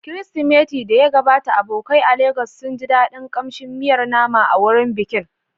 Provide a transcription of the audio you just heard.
Kirsimati da ya gabata, abokai a Legas sun ji daɗin kamshin miyar nama a wurin bikin.